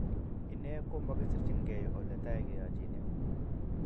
Ine ko makisirchinigei oletai keyachine